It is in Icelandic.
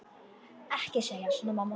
Ekki segja svona, mamma.